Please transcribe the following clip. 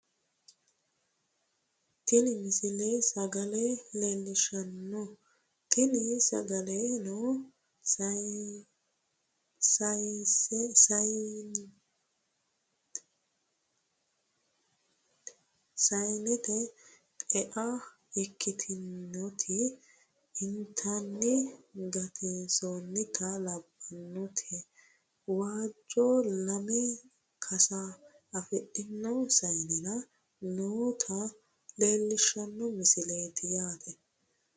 tini misile sagale leellishshanno tini sagaleno sayeente xe"a ikkitinoti inatanna gattinota labbannoti waajjo lame kasa afidhino sayeenera noota leellishshanno misileeti yaate